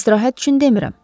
İstirahət üçün demirəm.